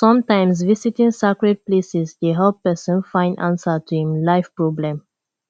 sometimes visiting sacred places dey help person find answer to em life problem